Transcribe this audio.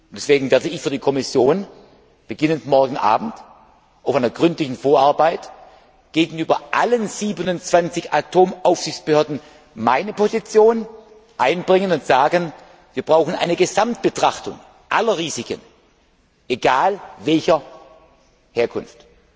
Deswegen werde ich für die Kommission ab morgen Abend auf der Grundlage einer gründlichen Vorarbeit gegenüber allen 27 Atomaufsichtsbehörden meine Position einbringen und sagen, wir brauchen eine Gesamtbetrachtung aller Risiken, egal welcher Herkunft.